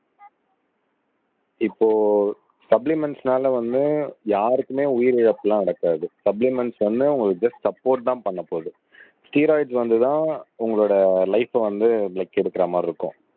இப்போ சப்ளிமெண்ட்ஸ்னால வந்து யாருக்குமே உயிரிழப்பு எல்லாம் நடக்காது சப்ளிமெண்ட்ஸ் வந்து உங்களுக்கு ஜஸ்ட் சப்போர்ட் தான் பண்ணப் போகுது ஸ்டெரொய்ட்ஸ் வந்துதான் உங்களோட லைப வந்து பிளட் எடுக்கிற மாதிரி இருக்கும்